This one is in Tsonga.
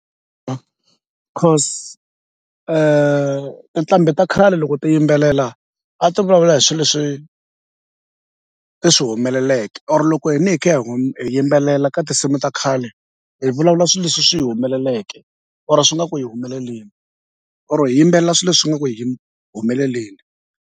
cause tinqambi ta khale loko ti yimbelela a ti vulavula hi swi leswi ti swi humeleleke or loko hina hi kha hi yimbelela ka tinsimu ta khale hi vulavula swi leswi swi humeleleke or swi nga ku hi humeleleni or hi yimbelela swi leswi nga ku hi humeleleni.